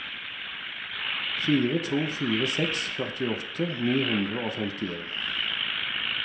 fire to fire seks førtiåtte ni hundre og femtien